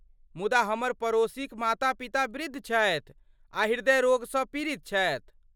मुदा हमर पड़ोसीक माता पिता वृद्ध छथि आ हृदयरोगसँ पीड़ित छथि।